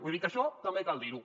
vull dir que això també cal dirho